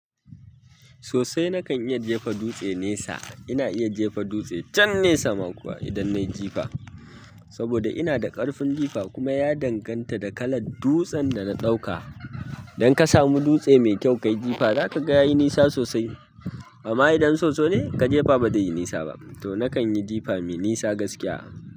Sosai nakan iya jefa dutse nesa. Ina iya jefa dutse chan nesa ma kuwa idan nayi jifa. Saboda ina da ƙarfin jifa kuma ya danganta da kalar dutsen da na ɗauka. Idan ka samu dutse mai kyau kayi jifa, za ka ga yayi nisa sosai. Amma idan soso ne ka jefa ba zai yi nisa ba. To nakan yi jifa mai nisa gaskiya.